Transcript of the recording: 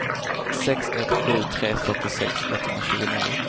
sex ett sju tre fyrtiosex etthundratjugonio